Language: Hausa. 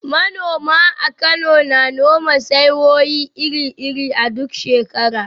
Manoma a Kano na noma saiwoyi iri-iri a duk shekara.